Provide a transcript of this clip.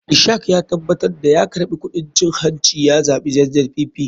Ishak ya tabatar da ya karɓi kuɗin cin hanci ya zaɓi zzpp.